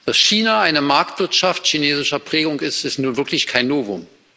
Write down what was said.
Dass China eine Marktwirtschaft chinesischer Prägung ist, ist nun wirklich kein Novum.